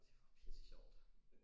Det var pisse sjovt